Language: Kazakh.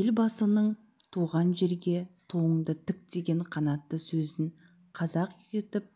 елбасының туған жерге туыңды тік деген қанатты сөзін қазық етіп